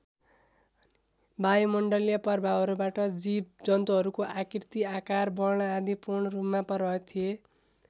वायुमण्डलीय प्रभावहरूबाट जीव जन्तुहरूको आकृति आकार वर्ण आदि पूर्ण रूपमा प्रभावित थिए।